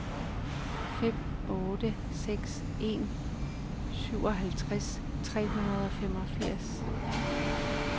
fem otte seks en syvoghalvtreds tre hundrede og femogfirs